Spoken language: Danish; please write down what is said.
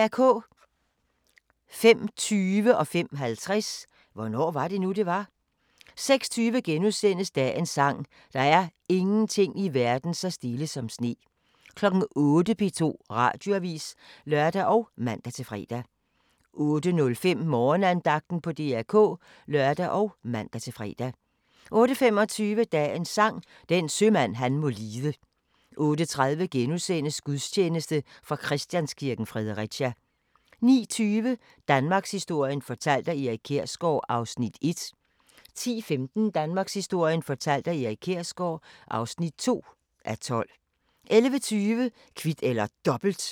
05:20: Hvornår var det nu, det var? 05:50: Hvornår var det nu, det var? 06:20: Dagens sang: Der er ingenting i verden så stille som sne * 08:00: P2 Radioavis (lør og man-fre) 08:05: Morgenandagten på DR K (lør og man-fre) 08:25: Dagens Sang: Den sømand han må lide 08:30: Gudstjeneste fra Christianskirken, Fredericia * 09:20: Danmarkshistorien fortalt af Erik Kjersgaard (1:12) 10:15: Danmarkshistorien fortalt af Erik Kjersgaard (2:12) 11:20: Kvit eller Dobbelt